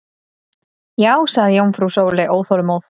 Já sagði jómfrú Sóley óþolinmóð.